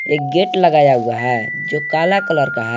एक गेट लगाया हुआ है जो काला कलर का है।